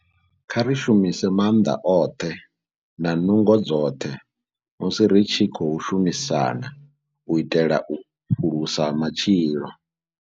Kha ri shumise maanḓa oṱhe na nungo dzoṱhe musi ri tshi khou shumisana u itela u phulusa matshilo.